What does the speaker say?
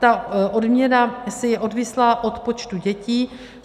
Ta odměna je odvislá od počtu dětí.